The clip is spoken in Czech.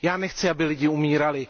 Nechci, aby lidé umírali.